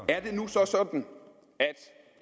er det nu så sådan at